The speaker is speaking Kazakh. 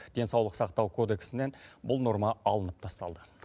денсаулық сақтау кодексінен бұл норма алынып тасталды